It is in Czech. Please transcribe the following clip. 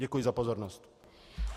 Děkuji za pozornost.